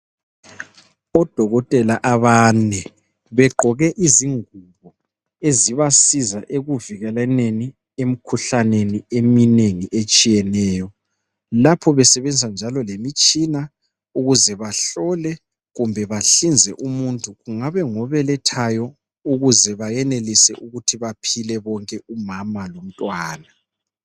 Odokotela abane begqoke izingubo ezibasiza ekuvikelaneni emikhuhlaneni eminengi etshiyeneyo lapho besebenza njalo lemitshina ukuze bahlole kumbe bahlinze umuntu kungabe ngobelethayo ukuze bayenelise ukuthi baphile bonke umama lomntwana